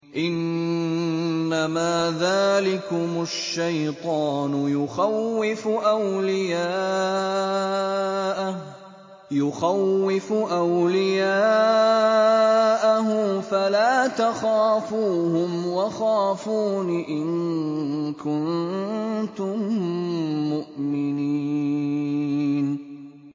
إِنَّمَا ذَٰلِكُمُ الشَّيْطَانُ يُخَوِّفُ أَوْلِيَاءَهُ فَلَا تَخَافُوهُمْ وَخَافُونِ إِن كُنتُم مُّؤْمِنِينَ